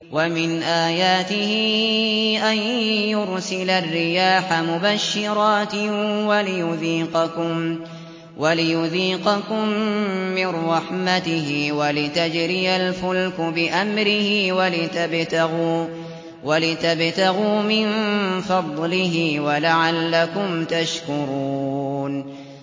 وَمِنْ آيَاتِهِ أَن يُرْسِلَ الرِّيَاحَ مُبَشِّرَاتٍ وَلِيُذِيقَكُم مِّن رَّحْمَتِهِ وَلِتَجْرِيَ الْفُلْكُ بِأَمْرِهِ وَلِتَبْتَغُوا مِن فَضْلِهِ وَلَعَلَّكُمْ تَشْكُرُونَ